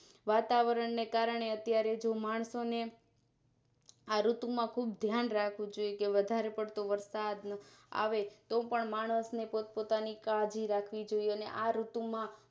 વાતાવરણને કારણે અત્યારે માણસો ને આ ઋતુ માં ખુબ ધ્યાન રાખવું જોઈએ કે વધારે પડતો વરસાદ આવે તો પણ માણસને પોતાની કાળજી રાખવી જોઈએ અને આ ઋતુ માં